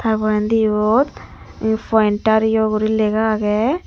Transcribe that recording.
tar porendi yot pointer yo guri lega aage.